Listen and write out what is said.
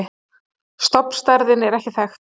Stofnstærðin er ekki þekkt.